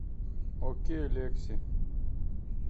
окей лекси